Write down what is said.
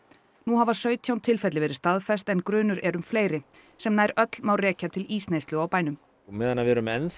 nú hafa sautján tilfelli verið staðfest en grunur er um fleiri sem nær öll má rekja til ísneyslu á bænum á meðan við erum enn